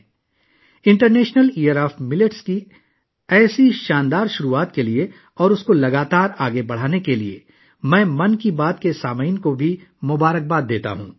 میں 'من کی بات' کے سننے والوں کو موٹے اناجوں کے بین الاقوامی دن کی اتنی شاندار آغاز اور اسے مسلسل آگے بڑھانے کے لیے بھی مبارکباد دیتا ہوں